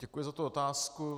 Děkuji za tu otázku.